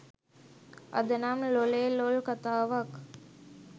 අද නම් ලොලේ ලොල් කතාවක්.